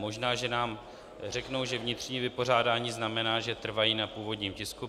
Možná že nám řeknou, že vnitřní vypořádání znamená, že trvají na původním tisku.